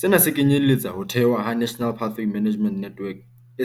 Sena se kenyeletsa ho thehwa ha National Pathway Management Network,